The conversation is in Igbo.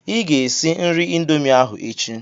Ị ga-esi nri Indomie ahụ echi.